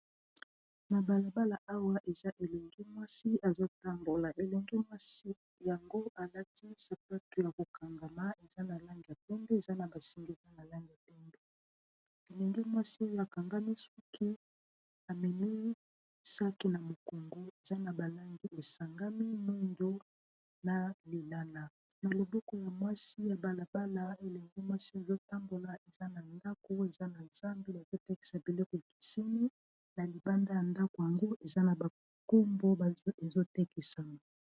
na balabala awa eza elenge mwasi ezotambola elenge mwasi yango alati sapatu ya kokangama eza na langi ya pembe eza na basinga ya langi ya pembe, elenge mwasi ezo kanga suki ameni sac na mokongo eza na balangi esangami ya lilala na loboko ya mwasi , na balabala elenge mwasi azotambola pembeni ya ndako, azo telema ,bazotekisa biloko ekeseni na libanda ya ndako yango eza na bakombo bazotekisa.